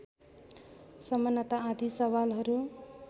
समानता आदि सवालहरू